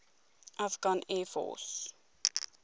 afghan air force